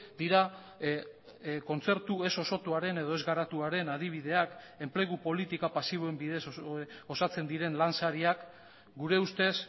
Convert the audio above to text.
dira kontzertu ez osotuaren edo ez garatuaren adibideak enplegu politika pasiboen bidez osatzen diren lansariak gure ustez